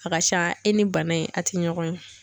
A ka ca e ni bana in a ti ɲɔgɔn ye.